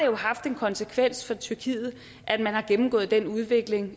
jo haft en konsekvens for tyrkiet at man har gennemgået den udvikling